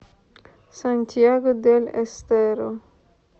сантьяго дель эстеро